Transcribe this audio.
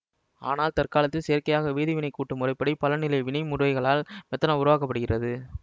ஆனால் தற்காலத்தில் செயற்கையாக வேதி வினைக்கூட்டு முறைப்படி பலநிலை வினை முறைகளால் மெத்தனால் உருவாக்க படுகிறது